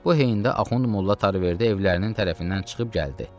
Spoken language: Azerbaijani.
Bu heyn-də Axund Molla Tariverdi evlərinin tərəfindən çıxıb gəldi.